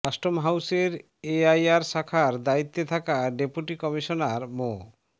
custom হাউসের AIR শাখার দায়িত্বে থাকা ডেপুটি কমিশনার মো